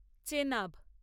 Chenab